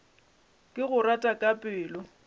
ke go rata ka pelo